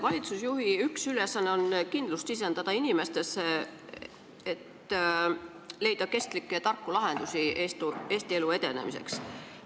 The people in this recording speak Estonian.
Valitsusjuhi üks ülesanne on sisendada inimestele kindlust, et leitakse kestlikke ja tarku lahendusi Eesti elu edenemiseks.